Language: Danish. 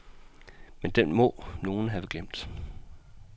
Men den må nogen have glemt.